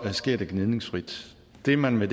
sker det gnidningsfrit det man vil